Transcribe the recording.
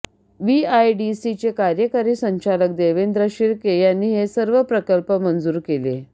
व्हीआयडीसीचे कार्यकारी संचालक देवेंद्र शिर्के यांनी हे सर्व प्रकल्प मंजूर केले